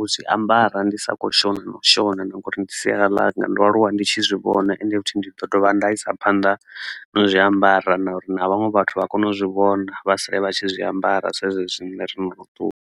u zwi ambara ndi sokho shona na u shona ngori ndi sialala ḽanga ndo aluwa ndi tshi zwi vhona ende futhi ndi ḓo dovha nda isa phanḓa na zw iambara na uri na vhaṅwe vhathu vha kone u zwi vhona vha sale vha tshi zwi ambara sa zwezwi rine ro no ṱuwa.